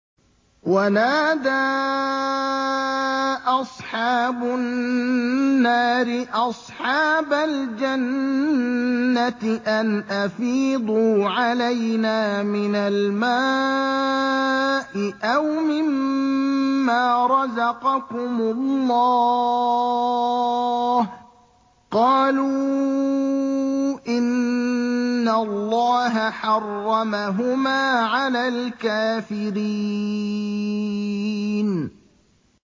وَنَادَىٰ أَصْحَابُ النَّارِ أَصْحَابَ الْجَنَّةِ أَنْ أَفِيضُوا عَلَيْنَا مِنَ الْمَاءِ أَوْ مِمَّا رَزَقَكُمُ اللَّهُ ۚ قَالُوا إِنَّ اللَّهَ حَرَّمَهُمَا عَلَى الْكَافِرِينَ